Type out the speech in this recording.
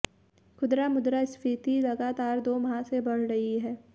खुदरा मुद्रास्फीति लगातार दो माह से बढ़ रही है